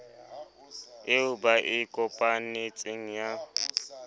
eo ba e kopanetseng ya